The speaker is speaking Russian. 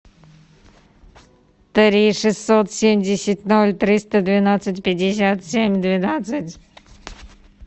три шестьсот семьдесят ноль триста двенадцать пятьдесят семь двенадцать